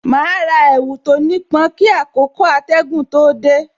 Ma ra èwù tó ní pọn kí àkókò atẹgun tó dé